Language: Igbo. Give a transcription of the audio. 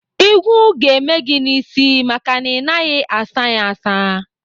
Ịgụ ga-eme gị n'isi maka na ị naghị asa ya asa.